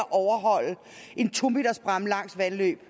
en to meters bræmme langs vandløb